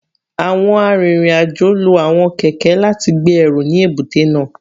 Awọn arinrin-ajo lo awọn kẹkẹ lati gbe ẹru ni ebute naa